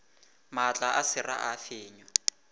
maatla a sera a fenywa